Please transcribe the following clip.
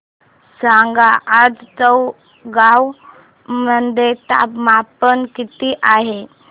सांगा आज चौगाव मध्ये तापमान किता आहे